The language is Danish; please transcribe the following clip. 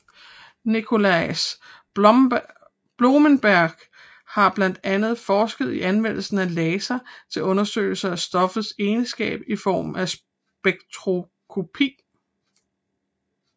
Nicolaas Bloembergen har blandt andet forsket i anvendelse af laser til undersøgelse af stoffers egenskaber i form af spektroskopi